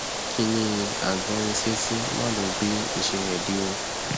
kiní agbórinsétí mà ló gbé ìṣe rẹ dé o